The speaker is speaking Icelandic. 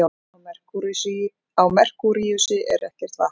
Á Merkúríusi er ekkert vatn.